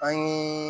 An ye